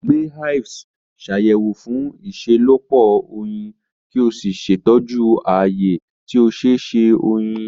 Gbe hives, Ṣàyẹ̀wò fún ìṣelọ́pọ̀ oyin, kí o sì ṣètọ́jú ààyè tí ó ṣeé ṣe oyin.